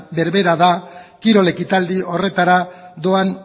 berbera da kirol ekitaldi horretara doan